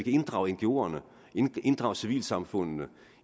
drage ngoerne inddrage civilsamfundene